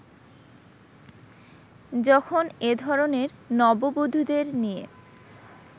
যখন এ ধরনের নববধুদের নিয়ে